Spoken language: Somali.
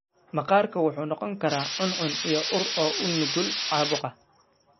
Maqaarku wuxuu noqon karaa cuncun iyo ur, oo u nugul caabuqa.